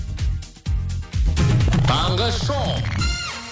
таңғы шоу